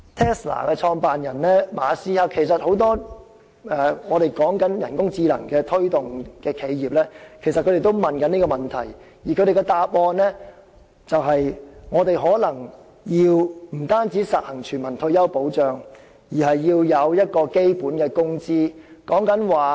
Tesla 的創辦人馬斯克以至很多推動人工智能企業的人士皆曾就此情況提出質疑，而他們的答案是我們可能不僅要實行全民退休保障，還要制訂基本工資。